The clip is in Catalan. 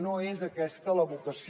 no és aquesta la vocació